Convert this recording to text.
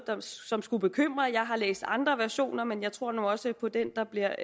som skulle bekymre jeg har læst andre versioner men jeg tror nu også på den der bliver